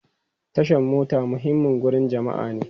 Tashan mota muhimmin wurin jama'a ne.